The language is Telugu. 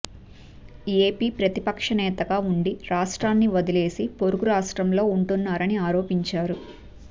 ఏపీ ప్రతిపక్ష నేతగా ఉండి రాష్ట్రాన్ని వదిలేసి పొరుగు రాష్ట్రంలో ఉంటున్నారని ఆరోపించారు